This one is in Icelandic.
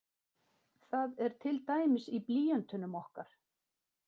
Það er til dæmis í blýöntunum okkar.